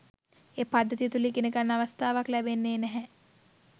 ඒ පද්ධතිය තුල ඉගනගන්න අවස්ථාවක් ලැබෙන්නේ නැහැ